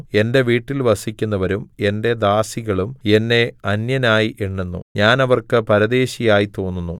എന്റെ വീട്ടിൽ വസിക്കുന്നവരും എന്റെ ദാസികളും എന്നെ അന്യനായി എണ്ണുന്നു ഞാൻ അവർക്ക് പരദേശിയായി തോന്നുന്നു